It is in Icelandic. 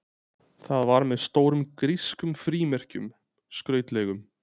Það var með stórum grískum frímerkjum, skrautlegum.